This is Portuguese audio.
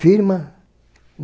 Firma.